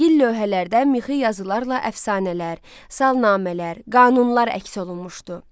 Gil lövhələrdən mixi yazılarla əfsanələr, salnamələr, qanunlar əks olunmuşdu.